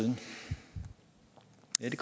de